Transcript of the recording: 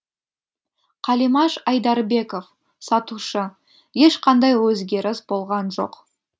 қалимаш айдарбеков сатушы ешқандай өзгеріс болған жоқ